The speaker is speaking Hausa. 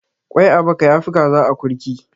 Kwai a baka yafi kaza a akurki.